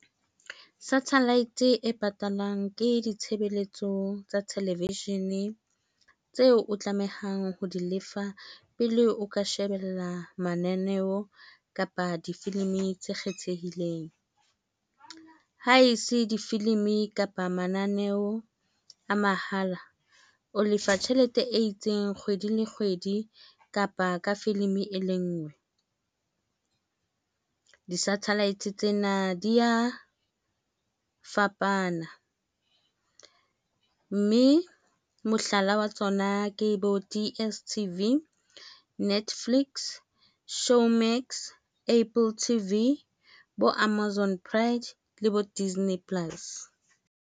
Satellite e patalwang ke ditshebeletso tsa television tseo o tlamehang ho di lefa pele o ka shebella mananeo kapa difilimi tse kgethehileng ha e se difilimi kapa mananeo a mahala o lefa tjhelete e itseng kgwedi le kgwedi kapa ka filimi e le ngwe di-satellite tsena di ya fapana mme mohlala wa tsona ke bo D_S_T_V, Netflix, ShowMax, Apple T_V bo Amozon Pride le bo Disney Plus.